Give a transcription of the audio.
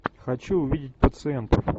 хочу увидеть пациентов